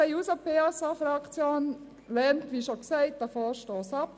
Die SPJUSO-PSA-Fraktion lehnt den Vorstoss ab, wie bereits gesagt.